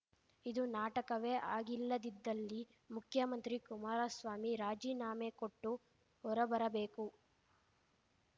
ಇದು ನಾಟಕವೇ ಆಗಿಲ್ಲದಿದ್ದಲ್ಲಿ ಮುಖ್ಯಮಂತ್ರಿ ಕುಮಾರಸ್ವಾಮಿ ರಾಜೀನಾಮೆ ಕೊಟ್ಟು ಹೊರಬರಬೇಕು